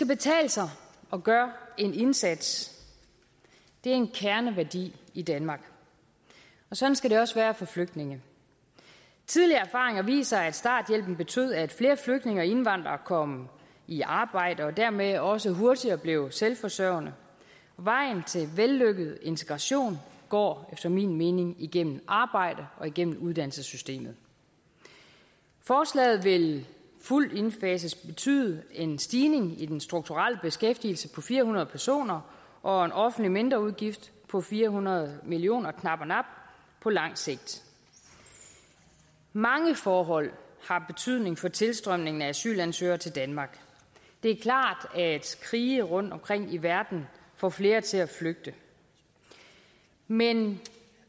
betale sig at gøre en indsats det er en kerneværdi i danmark og sådan skal det også være for flygtninge tidligere erfaringer viser at starthjælpen betød at flere flygtninge og indvandrere kom i arbejde og dermed også hurtigere blev selvforsørgende vejen til vellykket integration går efter min mening igennem arbejde og igennem uddannelsessystemet forslaget vil fuldt indfaset betyde en stigning i den strukturelle beskæftigelse på fire hundrede personer og en offentlig mindreudgift på fire hundrede million kr knap og nap på lang sigt mange forhold har betydning for tilstrømningen af asylansøgere til danmark det er klart at krige rundtomkring i verden får flere til at flygte men